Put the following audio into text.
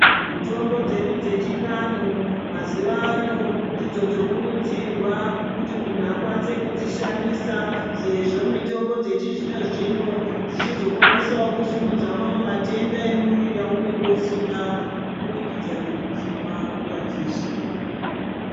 Mitombo dzedu dzechivanhu mazuwa ano ndidzo dzokurudzirwa kuti munhu akwanise kudzishandisa sezvo mitombo dzechizvino-zvino dzichizokwanisawo kusimudza mamwe matenda emumwiri aunenge usina kubudikidza nekudzimwa nguwai dzeshe.